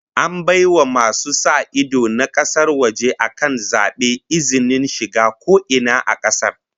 An bai wa masu sa ido na kasar waje akan zaben izinin shiga ko ina a kasar